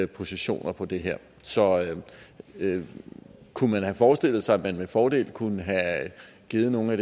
positioner på det her så kunne man have forestillet sig at man med fordel kunne have givet noget af